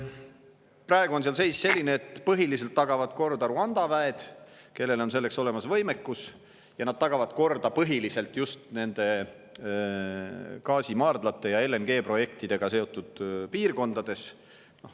Praegu on seal seis selline, et põhiliselt tagavad korda Rwanda väed, kellel on selleks olemas võimekus, ja nad tagavad korda põhiliselt just gaasimaardlate ja LNG-projektidega seotud piirkondades.